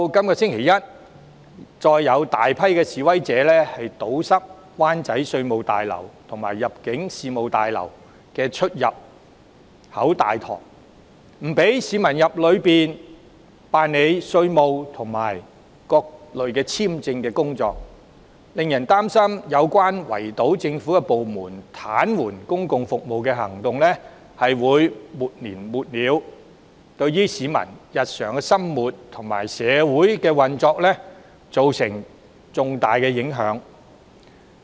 本周一，再有大批示威者堵塞灣仔稅務大樓及入境事務大樓的出入口和大堂，阻止市民進入大樓辦理稅務和各類簽證的手續，令人擔心圍堵政府部門、癱瘓公共服務的行動會沒完沒了，對市民日常生活及社會運作造成重大影響。